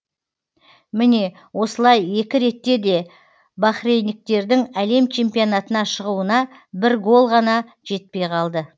міне осылай екі ретте де бахрейндіктердің әлем чемпионатына шығуына бір гол ғана жетпей қалды